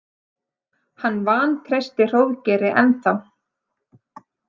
Hann vantreysti Hróðgeiri ennþá.